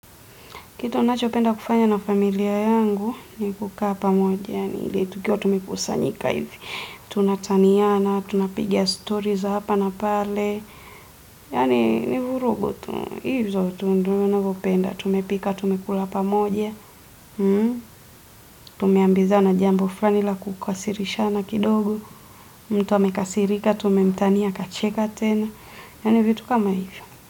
Kitu ninachopenda kufanya na familia yangu, ni kukaa pamoja. Tukiwa tumekusanyika hivi. Tunataniana, tunapiga stori za hapa na pale. Yaani, ni vurugu tu. Hizo tu ndio ninavyopenda. Tumepika, tumekula pamoja. Tumeambizana jambo fulani la kukasirishana kidogo mtu amekasirika, tumemtania akacheka tena Yaani vitu kama hivyo.